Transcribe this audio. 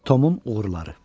Tomun uğurları.